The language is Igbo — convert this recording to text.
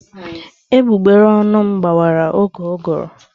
Egbugbere ọnụ m gbawara oge ụgụrụ.